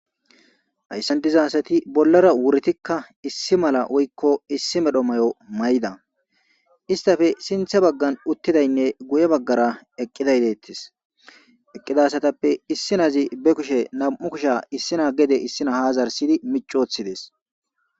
Hayssantiza hasati bollara wuritikka issi mala woykko issi medho mayo may7da istafe sinthe baggan uttidaynne guye baggara eqqidayleettis eqqidasatappe issi nazi be kushe nam7u kushe issina gede issina hazarsidi micoothidees.